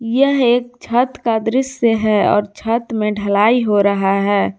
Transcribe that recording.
यह एक छत का दृश्य है और छत में ढलाई हो रहा है।